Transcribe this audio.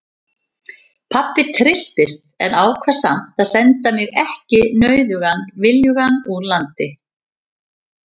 Pabbi trylltist en ákvað samt að senda mig ekki nauðugan viljugan úr landi.